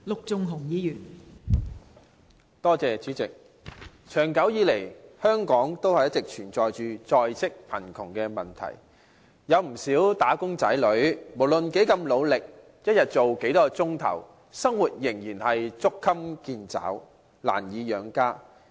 代理主席，長久以來，香港一直存在着在職貧窮的問題，不少"打工仔女"無論多麼努力，每天工作多少個小時，生活仍然捉襟見肘，難以養家。